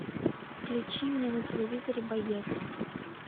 включи мне на телевизоре боец